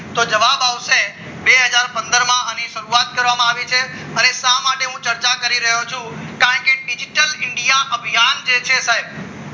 જવાબ આવશે બે હજાર પંદર માં આની શરૂઆત કરવામાં આવી છે અને શા માટે હું ચર્ચા કરી રહ્યો છું કારણ કે digital ઇન્ડિયા અભિયાન જે છે સાહેબ